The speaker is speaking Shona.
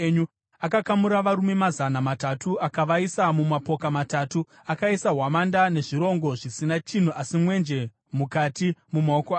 Akakamura varume mazana matatu akavaisa mumapoka matatu, akaisa hwamanda nezvirongo zvisina chinhu, asi mwenje mukati, mumaoko avo.